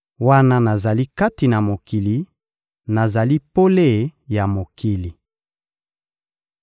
Wana nazali kati na mokili, nazali pole ya mokili.